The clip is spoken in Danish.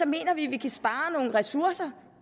mener vi at vi kan spare nogle ressourcer